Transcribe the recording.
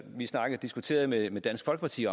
diskuterede med med dansk folkeparti